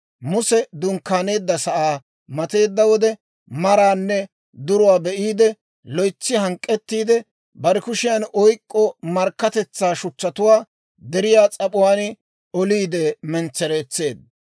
Muse dunkkaaneedda sa'aa mateedda wode, maraanne duruwaa be'iide loytsi hank'k'ettiide bare kushiyaan oyk'k'o markkatetsaa shuchchatuwaa deriyaa s'ap'uwaan oliide mentsereetseedda.